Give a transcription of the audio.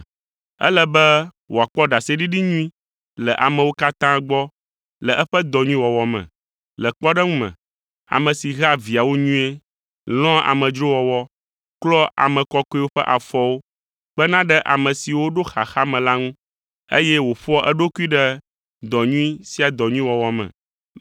Ele be wòakpɔ ɖaseɖiɖi nyui le amewo katã gbɔ le eƒe dɔ nyui wɔwɔ me. Le kpɔɖeŋu me, ame si hea viawo nyuie, lɔ̃a amedzrowɔwɔ, klɔa ame kɔkɔewo ƒe afɔwo, kpena ɖe ame siwo ɖo xaxa me la ŋu, eye wòƒoa eɖokui ɖe dɔ nyui sia dɔ nyui wɔwɔ me.